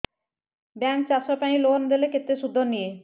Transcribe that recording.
bank ଚାଷ ପାଇଁ loan ଦେଲେ କେତେ ସୁଧ ନିଏ